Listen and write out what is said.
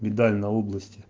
медаль на области